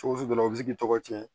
Cogo sugu dɔ la u bi se k'i tɔgɔ tiɲɛ